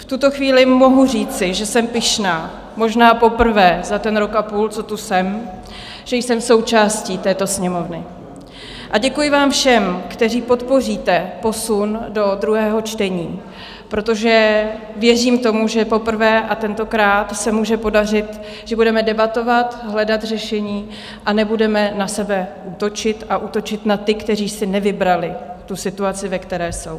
V tuto chvíli mohu říci, že jsem pyšná, možná poprvé za ten rok a půl, co tu jsem, že jsem součástí této Sněmovny, a děkuji vám všem, kteří podpoříte posun do druhého čtení, protože věřím tomu, že poprvé a tentokrát se může podařit, že budeme debatovat, hledat řešení a nebudeme na sebe útočit a útočit na ty, kteří si nevybrali tu situaci, ve které jsou.